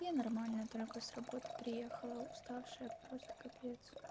я нормально только с работы приехала уставшая просто капец